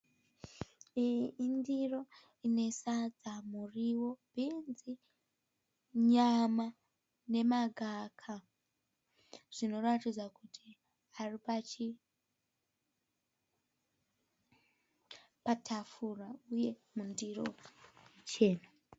Iyi indiro ine sadza, muriwo, bhinzi, nyama nemagaka. Zvinoratidza kuti zviripatafura uye mundiro chena.